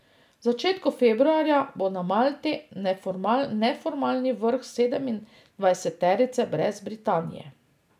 V začetku februarja bo na Malti neformalni vrh sedemindvajseterice brez Britanije.